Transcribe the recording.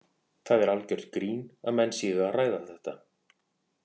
Það er algjört grín að menn séu að ræða þetta.